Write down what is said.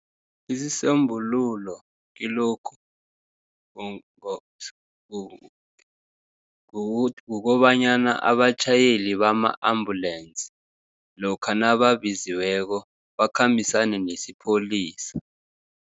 Isisombululo kilokhu, kukobanyana abatjhayeli bama-ambulensi, lokha nababiziweko, bakhambisane nesipholisa.